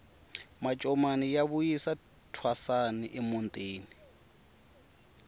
mancomani ya vuyisa thwasani emutini